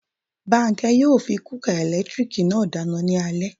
Bánkẹ́ yóò fi kúúkà ẹ̀lẹ́tírìkì náà dáná ní alé